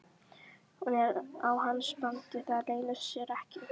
Hún er á hans bandi, það leynir sér ekki.